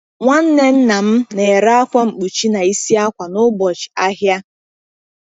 Nwanne nna m na-ere akwa mkpuchi na isi akwa n’ụbọchị ahịa.